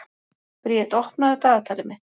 Briet, opnaðu dagatalið mitt.